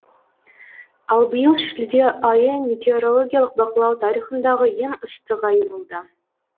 ал биыл шілде айы метеорологиялық бақылау тарихындағы ең ыстық ай болды